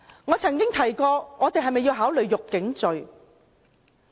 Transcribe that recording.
我曾提過是否要考慮訂立辱警罪。